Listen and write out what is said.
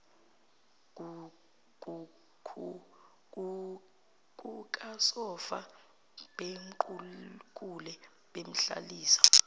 kukasofa bamqukule bemhlalisa